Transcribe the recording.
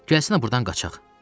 Gəlsənə burdan qaçaq.